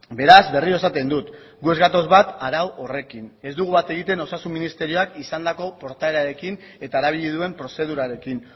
beraz berriro esaten dut gu ez gatoz bat arau horrekin ez dugu bat egiten osasun ministerioak izandako portaerarekin eta erabili duen prozedurarekin